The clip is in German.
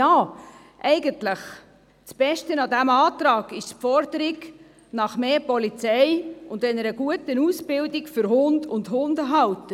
Eigentlich ist das Beste an diesem Vorstoss die Forderung nach mehr Polizei und nach einer guten Ausbildung für Hund und Hundehalter.